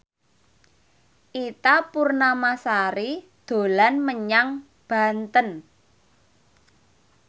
Ita Purnamasari dolan menyang Banten